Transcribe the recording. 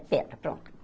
Pedra, pronto.